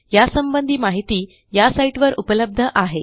यासंबंधी माहिती या साईटवर उपलब्ध आहे